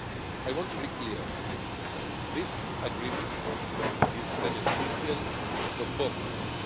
I want to be clear this agreement is beneficial for both sides.